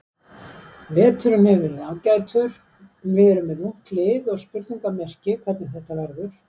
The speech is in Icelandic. Veturinn hefur verið ágætur, við erum með ungt lið og spurningamerki hvernig þetta verður.